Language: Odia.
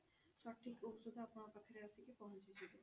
ସଠିକ ଔଷଧ ଆପଣଙ୍କ ପାଖରେ ଆସିକି ପହଞ୍ଚିଯିବ